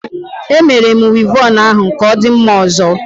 E Mere m Wivọnụ ahu ka odi mma ozo